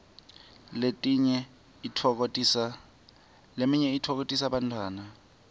leminye itfokotisa bantfwana